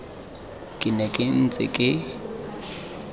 ke ne ke ntse ke